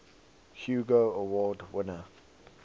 hugo award winner